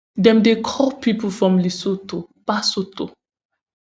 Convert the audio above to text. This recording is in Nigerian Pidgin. dem dey call pipo from lesotho basotho